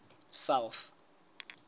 south